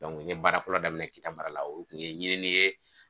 n ye baara fɔlɔ daminɛ Kita mara la o kun ye ɲinini ye